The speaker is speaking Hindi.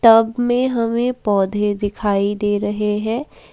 टब में हमें पौधे दिखाई दे रहे हैं।